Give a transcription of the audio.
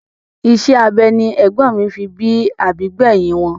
Isẹ́ abẹ ni ègbón fi bí àbí gbẹ̀hìn wọn.